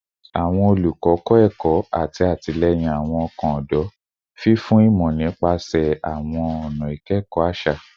Awọn olukọ kọ ẹkọ ati atilẹyin awọn ọkan ọdọ, fifun imọ nipasẹ awọn ọna ikẹkọ aṣa